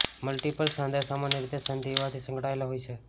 multiple સાંધા સામાન્ય રીતે સંધિવાથી સંકળાયેલા હોય છે